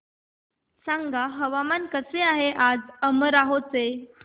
सांगा हवामान कसे आहे आज अमरोहा चे